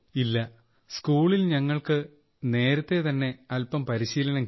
no in school we have already get some training